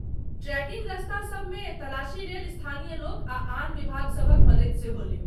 Trekking रास्तासभ मे तलाशी लेल स्थानीय लोक आ आन विभागसभक मदति सेहो लेब।